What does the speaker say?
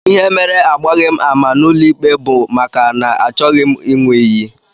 Ihe mere agbaghị m ama n'ụlọikpe bụ maka na achọghị m ịṅụ iyi